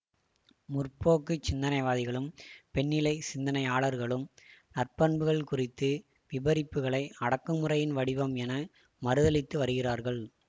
முற்போக்குச் சிந்தனைவாதிகளும் பெண்ணிலைச் சிந்தனையாளர்களும் நாற்பண்புகள் குறித்த விபரிப்புகளை அடக்குமுறையின் வடிவம் என மறுதலித்து வருகிறார்கள்